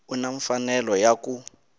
u na mfanelo ya ku